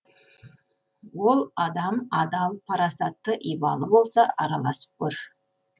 ол адам адал парасатты ибалы болса араласып көр